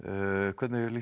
hvernig lýst